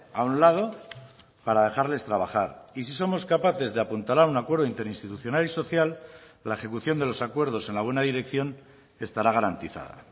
a un lado para dejarles trabajar y si somos capaces de apuntalar un acuerdo interinstitucional y social la ejecución de los acuerdos en la buena dirección estará garantizada